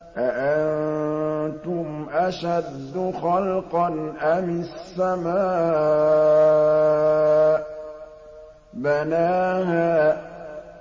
أَأَنتُمْ أَشَدُّ خَلْقًا أَمِ السَّمَاءُ ۚ بَنَاهَا